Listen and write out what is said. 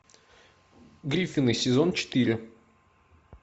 гриффины сезон четыре